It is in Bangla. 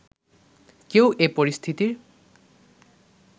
কেউ এ পরিস্থিতির